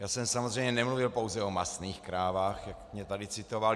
Já jsem samozřejmě nemluvil pouze o masných krávách, jak mě tady citoval.